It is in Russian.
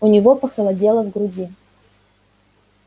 у него похолодело в груди